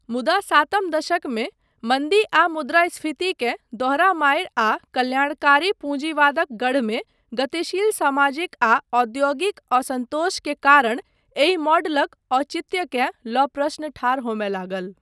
मुदा सातम दशकमे मन्दी आ मुद्रास्फीति के दोहरा मारि आ कल्याणकारी पूँजीवादक गढ़मे गतिशील सामाजिक आ औद्योगिक असन्तोष के कारण एहि मॉडलक औचित्यकेँ लऽ प्रश्न ठाढ़ होमय लागल।